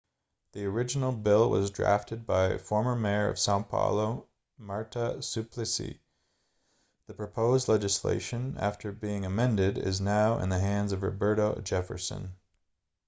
the original bill was drafted by former mayor of são paulo marta suplicy. the proposed legislation after being amended is now in the hands of roberto jefferson